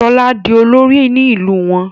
Shola dì olori ní ilú wón